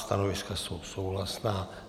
Stanoviska jsou souhlasná.